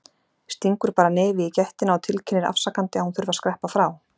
Stingur bara nefi í gættina og tilkynnir afsakandi að hún þurfi að skreppa frá.